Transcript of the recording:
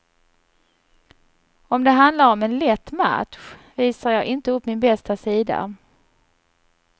Om det handlar om en lätt match visar jag inte upp min bästa sida.